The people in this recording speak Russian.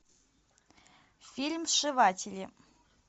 фильм сшиватели